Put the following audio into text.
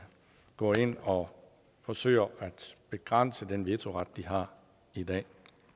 går ind og forsøger at begrænse den vetoret de har i dag